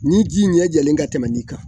Ni ji ɲɛ jɛlen ka tɛmɛ nin kan